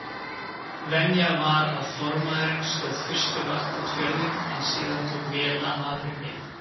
Venja var að formaðurinn stóð fyrstu vakt út fjörðinn en síðan tók vélamaðurinn við.